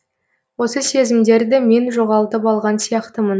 осы сезімдерді мен жоғалтып алған сияқтымын